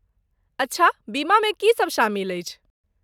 अच्छा, बीमामे की सब शामिल अछि?